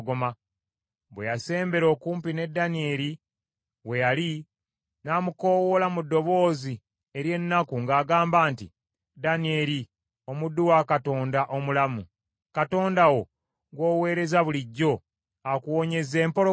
Bwe yasembera okumpi ne Danyeri we yali, n’amukoowoola mu ddoboozi ery’ennaku ng’agamba nti, “Danyeri omuddu wa Katonda omulamu, Katonda wo, gw’oweereza bulijjo akuwonyezza empologoma?”